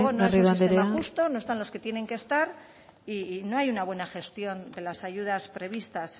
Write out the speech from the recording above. garrido anderea desde luego no es un sistema justo no están los que tienen que estar y no hay una buena gestión de las ayudas prevista